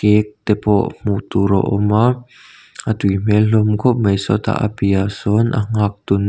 cake te pawh hmuh tur a awm a a tui hmel hlawm khawp mai sawtah a piahah sawn a nghaktu nu--